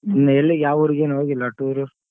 ಇನ್ ಎಲ್ಲಿಗೆ ಯಾವ್ ಊರ್ಗೇನ್ ಹೋಗಿಲ್ಲ tour ?